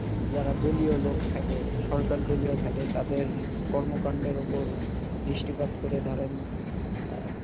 যারা দলীয় লোক থাকে সরকারদলীয় থাকে তাদের কর্মকাণ্ডের ওপর দৃষ্টিপাত করে ধরেন আহ